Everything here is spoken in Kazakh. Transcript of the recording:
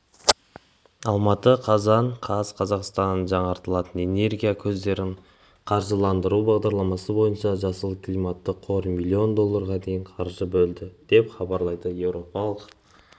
алматы қазан қаз қазақстанның жаңартылатын энергия көздерін қаржыландыру бағдарламасы бойынша жасыл климатты қор миллион долларға дейін қаржы бөледі деп хабарлайды еуропалық